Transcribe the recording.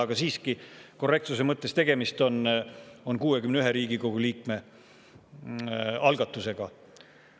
Aga siiski korrektsuse mõttes: tegemist on 61 Riigikogu liikme algatusega.